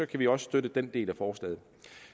kan vi også støtte den del af forslaget